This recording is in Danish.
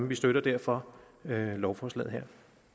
vi støtter derfor lovforslaget her